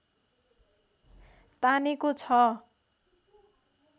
तानेको छ